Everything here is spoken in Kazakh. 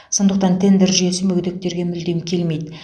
сондықтан тендер жүйесі мүгедектерге мүлдем келмейді